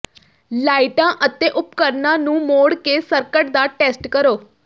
ਲਾਈਟਾਂ ਅਤੇ ਉਪਕਰਣਾਂ ਨੂੰ ਮੋੜ ਕੇ ਸਰਕਟ ਦਾ ਟੈਸਟ ਕਰੋ